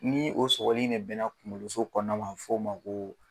Ni o sɔgɔli in de mɛnna kunkoloso kɔnɔna na a bɛ f'o ma ko.